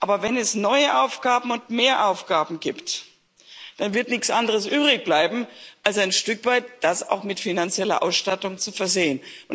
Aber wenn es neue Aufgaben und mehr Aufgaben gibt, dann wird nichts anderes übrig bleiben, als das ein Stück weit auch mit finanzieller Ausstattung zu versehen.